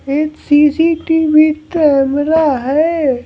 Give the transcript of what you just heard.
एक CCTV camera है।